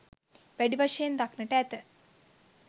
වැඩි වශයෙන් දක්නට ඇත